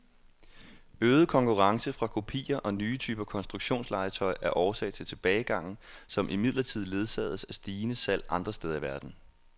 Øget konkurrence fra kopier og nye typer konstruktionslegetøj er årsag til tilbagegangen, som imidlertid ledsages af stigende salg andre steder i verden.